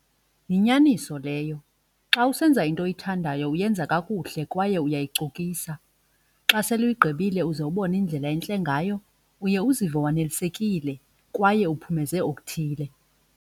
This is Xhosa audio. Yinyaniso leyo, xa usenza into oyithandayo uyenza kakuhle kwaye uyayicokisa. Xa sele uyigqibile uze ubone indlela entle ngayo uye uzive wanelisekile kwaye uphumeze okuthile.